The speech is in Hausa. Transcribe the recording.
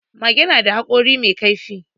Mage da da haƙori mai kaifi